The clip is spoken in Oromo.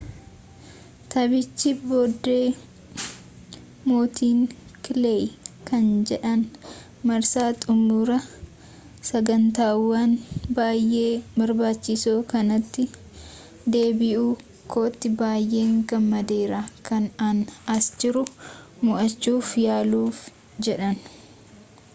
taphicha boode mootiin kileey kan jedhaan marsaa xumura sagantawwan baayee barbaachisoo kanati deebi'uu kootii baayee gammadeera kan an as jiru mo'achuuf yaluuf jedheni